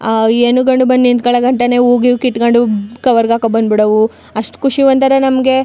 ಆ ಹೆಣ್ಣು ಗಂಡು ಬನ್ನಿ ನಿಂತ್ಗಳಗಟ್ಟನೆ ಹೂ ಗೀವು ಕಿತ್ಕೊಂಡು ಕವರ್ ಗೆ ಹಾಕೊಂಡು ಬಂದು ಬಿಡಾವು ಅಷ್ಟು ಖುಷಿ ಒಂತರ ನಮಗೆ.